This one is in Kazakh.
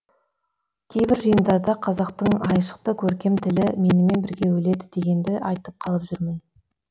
кейбір жиындарда қазақтың айшықты көркем тілі менімен бірге өледі дегенді айтып қалып жүрмін